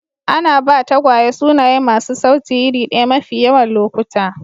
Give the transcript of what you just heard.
Ana ba tagwaye sunaye masu sauti iri ɗaya mafi yawan lokuta.